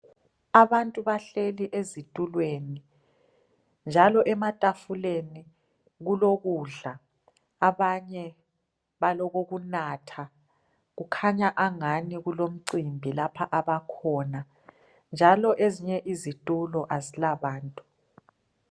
Abantu bahleli ezitulweni njalo ematafuleni kulokudla abanye balokokunatha kukhanya angani kulomcimbi lapha abakhona njalo ezinye izitulo kazila bantu